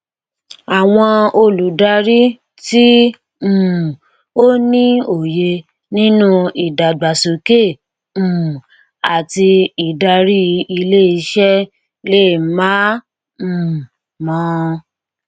àwọn olùdarí tí um ó ní òye nínú ìdàgbàsókè um àti ìdàrí ilé iṣẹ lè má um mọ